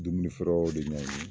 Dumuni feere yɔrɔ de yɛɲini